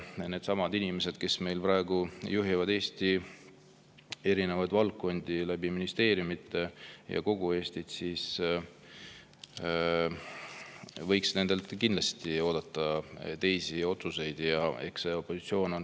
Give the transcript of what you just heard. Nendelt inimestelt, kes praegu juhivad kogu Eestit ja Eesti erinevaid valdkondi ministeeriumide kaudu, võiks kindlasti oodata teisi otsuseid.